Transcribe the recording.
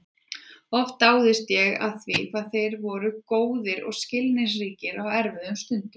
Oft dáðist ég að því hvað þeir voru góðir og skilningsríkir á erfiðum stundum.